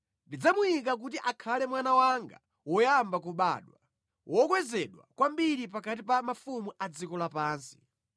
Ndidzamuyika kuti akhale mwana wanga woyamba kubadwa; wokwezedwa kwambiri pakati pa mafumu a dziko lapansi.